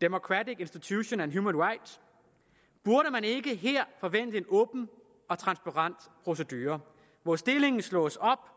democratic institutions and human rights burde man ikke her forvente en åben og transparent procedure hvor stillingen slås op